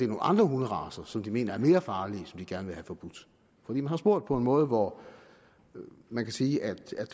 nogle andre hunderacer som de mener er mere farlige og som de gerne vil have forbudt for man har spurgt på en måde hvor man kan sige at det